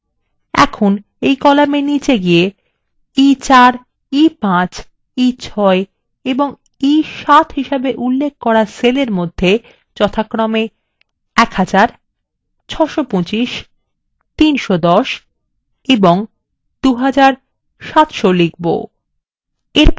এখন column নিচে গিয়ে আমরা